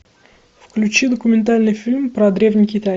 включи документальный фильм про древний китай